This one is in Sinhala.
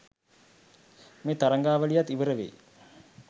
මේ තරඟාවලියත් ඉවර වෙයි.